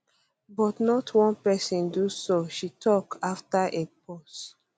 but not one person do so she tok after a pause